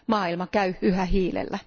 Maailma käy yhä hiilellä.